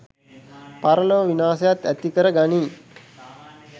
පරලොව විනාශයත් ඇතිකර ගනියි.